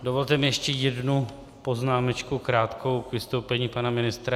Dovolte mi ještě jednu poznámečku krátkou k vystoupení pana ministra.